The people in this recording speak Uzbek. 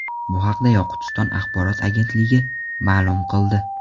Bu haqda Yoqutiston axborot agentligi ma’lum qildi .